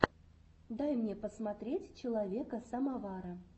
дай мне посмотреть человека самовара